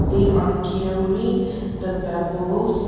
they are carrying the pebbles.